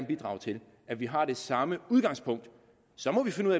bidrage til at vi har det samme udgangspunkt